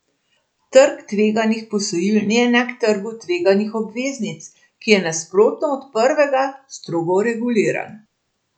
Trg tveganih posojil ni enak trgu tveganih obveznic, ki je nasprotno od prvega strogo reguliran.